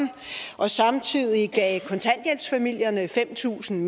og samtidig gav kontanthjælpsfamilierne fem tusind